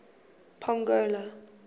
pongola